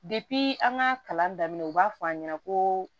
an ka kalan daminɛ u b'a fɔ an ɲɛna ko